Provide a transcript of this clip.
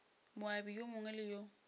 moabi yo mongwe le yo